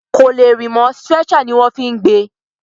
Kò lè rìn mọ́, stretcher ní wọ́n fí gbé e.